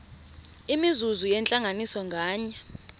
imizuzu yentlanganiso nganye